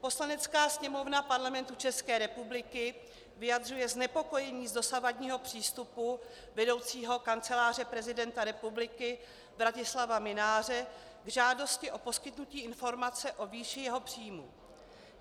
Poslanecká sněmovna Parlamentu České republiky vyjadřuje znepokojení z dosavadního přístupu vedoucího Kanceláře prezidenta republiky Vratislava Mynáře k žádosti o poskytnutí informace o výši jeho příjmů.